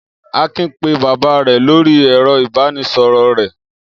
Akin pé bàbá rẹ̀ lórí ẹ̀rọ-ìbánisọ̀rọ̀ rẹ̀.